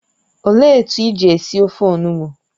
Ọ léé etu iji esi ofe onugbụ?